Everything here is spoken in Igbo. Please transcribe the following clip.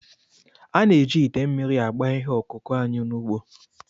A na-eji ite mmiri agba ihe ọkụkụ anyị n'ugbo